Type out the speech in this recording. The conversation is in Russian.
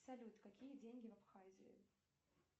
салют какие деньги в абхазии